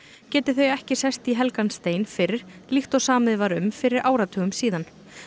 geti þau ekki sest í helgan stein fyrr líkt og samið var um fyrir áratugum síðan